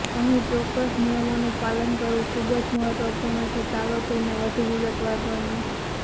અહીં ચોક્કસ નિયમોનું પાલન કરવું ખૂબ જ મહત્વપૂર્ણ છે ચાલો તેમને વધુ વિગતવાર ગણીએ